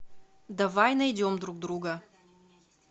давай найдем друг друга